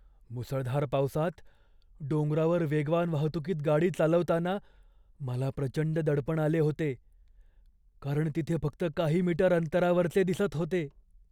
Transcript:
मुसळधार पावसात डोंगरावर वेगवान वाहतुकीत गाडी चालवताना मला प्रचंड दडपण आले होते, कारण तिथे फक्त काही मीटर अंतरावरचे दिसत होते.